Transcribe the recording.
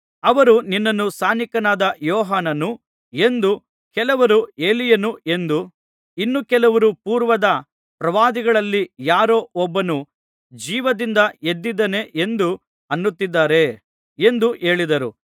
ಅವರು ನಿನ್ನನ್ನು ಸ್ನಾನಿಕನಾದ ಯೋಹಾನನು ಎಂದೂ ಕೆಲವರು ಎಲೀಯನು ಎಂದೂ ಇನ್ನು ಕೆಲವರು ಪೂರ್ವದ ಪ್ರವಾದಿಗಳಲ್ಲಿ ಯಾರೋ ಒಬ್ಬನು ಜೀವದಿಂದ ಎದ್ದಿದ್ದಾನೆ ಎಂದು ಅನ್ನುತ್ತಿದ್ದಾರೆ ಎಂದು ಹೇಳಿದರು